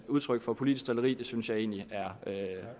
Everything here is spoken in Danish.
udtryk for politisk drilleri og det synes jeg egentlig er